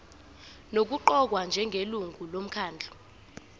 nokuqokwa njengelungu lomkhandlu